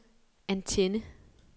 antenne